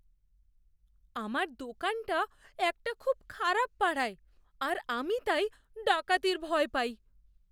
আমার দোকানটা একটা খুব খারাপ পাড়ায়, আর আমি তাই ডাকাতির ভয় পাই।